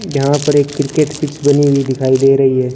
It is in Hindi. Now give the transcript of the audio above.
यहां पर एक क्रिकेट पिच बनी हुई दिखाई दे रही है।